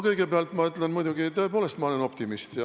Kõigepealt ma ütlen, et tõepoolest, ma olen optimist.